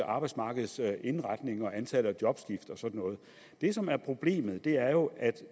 arbejdsmarkeds indretning og antallet af jobskift og sådan noget det som er problemet er jo at det